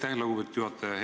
Aitäh, lugupeetud juhataja!